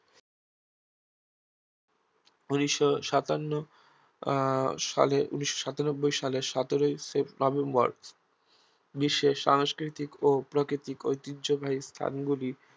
ঊনিশ সাতান্ন আহ সালে ঊনিশ সাতানব্বই সালের সতেরই নভেম্বর বিশ্বের সাংস্কৃতিক ও প্রাকৃতিক ঐতিহ্যবাহী স্থানগুলি